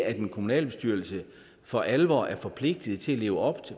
en kommunalbestyrelse er for alvor forpligtet til at leve op